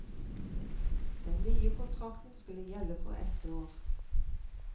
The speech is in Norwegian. Den nye kontrakten skulle gjelde for ett år.